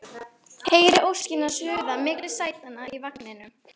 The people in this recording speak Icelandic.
Heyri óskina suða milli sætanna í vagninum